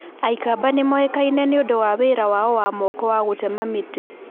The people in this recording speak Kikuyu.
Aikamba nĩ moĩkaine nĩ ũndũ wa wĩra wao wa moko wa gũtema mĩtĩ.